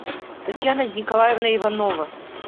татьяна николаевна иванова